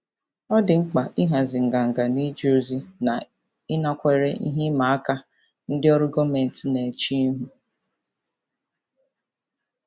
Ọ dị mkpa ịhazi nganga n'ije ozi na ịnakwere ihe ịma aka ndị ọrụ gọọmentị na-eche ihu.